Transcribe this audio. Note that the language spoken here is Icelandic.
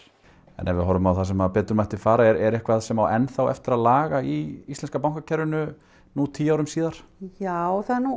en ef við horfum á það sem betur mætti fara er er eitthvað sem enn á eftir að laga í íslenska bankakerfinu nú tíu árum síðar já það er